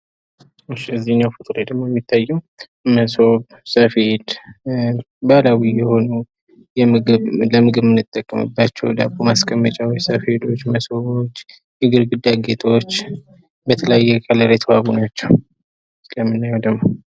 እዚህኛው ፎቶ ላይ ደግሞ የሚታየው መሶብ ሰፌድ ባህላዊ የሆኑ ለምግብ የምንጠቀምባቸው ዳቦ ማስቀመጫወች ሰፌዶች መሶቦች የግድግዳ ጌጦች በተለያየ ቀለም የተዋቡ ናቸው ።እዚህ ላይ የምናየው ደግሞ።